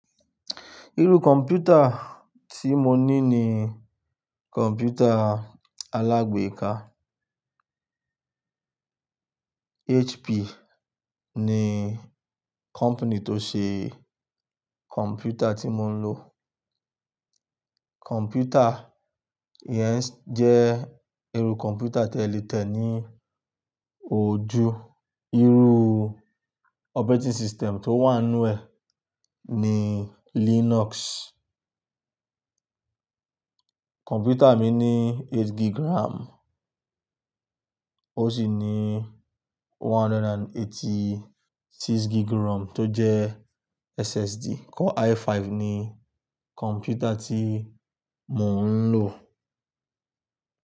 Irú kọ̀m̀pútà tí mo ní ní kọ̀m̀pútà alágbèéká. HP ni company tó ṣe kọ̀m̀pútà tí mo ń lò. Kọ̀m̀pútà yẹn jẹ́ irú kọ̀m̀pútà tẹ le tẹ ní ojú. Irú operating system tó wà nínú ẹ̀ ni Linux. Kọ̀m̀pútà mi ní eight gig RAM ó sì ní one hundred and eighty-six gig ROM tó jẹ́ SSD. Core i5 ni kọ̀m̀pútà tí mò ń lò.